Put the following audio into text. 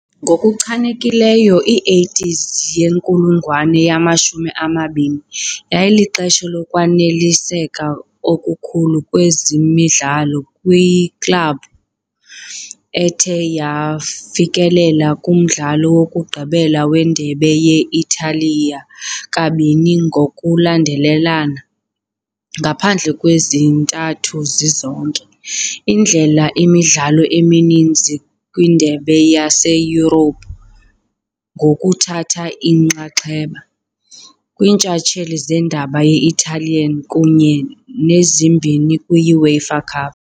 Ngokuchanekileyo i-80s yenkulungwane yamashumi amabini yayilixesha lokwaneliseka okukhulu kwezemidlalo kwiklabhu, ethe yafikelela kumdlalo wokugqibela weNdebe ye -Italiya kabini ngokulandelelana, ngaphandle kwezintathu zizonke, idlala imidlalo emininzi kwiindebe zaseYurophu, ngokuthatha inxaxheba. kwiiNtshatsheli zeNdebe ye-Italian kunye nezimbini kwi- UEFA Cup.